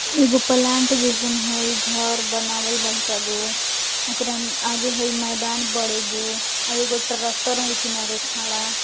एगो प्लांट जैसन हई घर बनावल बड़कागो ओकरा आगे मैदान हई बड़ेगो आर एगो ट्रैक्टर किनारे खड़ा --